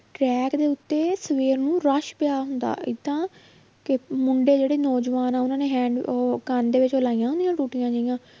Track ਦੇ ਉੱਤੇ ਸਵੇਰ ਨੂੰ rush ਪਿਆ ਹੁੰਦਾ, ਏਦਾਂ ਕਿ ਮੁੰਡੇ ਜਿਹੜੇ ਨੌਜਵਾਨ ਆਂ ਉਹਨਾਂ ਨੇ ਹੈਂਡ~ ਉਹ ਕੰਨ ਦੇ ਵਿੱਚ ਉਹ ਲਾਈਆਂ ਹੁੰਦੀਆਂ ਟੂਟੀਆਂ ਜਿਹੀਆਂ